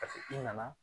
i nana